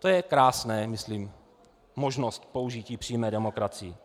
To je krásná, myslím, možnost použití přímé demokracie.